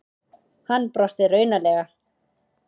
Hann brosti raunalega.